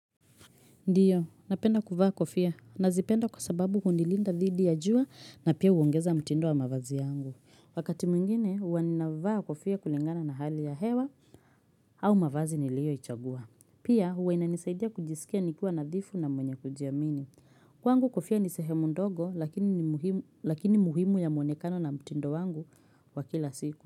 Ndiyo, napenda kuvaa kofia. Nazipenda kwa sababu hunilinda dhidi ya jua na pia uongeza mtindo wa mavazi yangu. Wakati mwingine, huwa ninavaa kofia kulingana na hali ya hewa au mavazi nilioichagua. Pia, uwa ina nisaidia kujisikia nikiwa nadhifu na mwenye kujiamini. Kwangu kofia ni sehemu ndogo, lakini muhimu ya mwonekano na mtindo wangu wa kila siku.